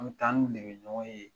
An bɛ taa an n'olu de bɛ ɲɔgɔn ye